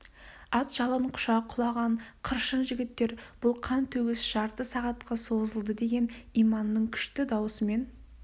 ат жалын құша құлаған қыршын жігіттер бұл қан төгіс жарты сағатқа созылды деген иманның күшті даусымен